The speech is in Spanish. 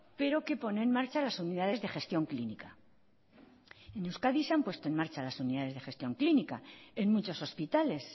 pero que pone en marcha las unidades de gestión clínica en euskadi se han puesto en marcha las unidades de gestión clínica en muchos hospitales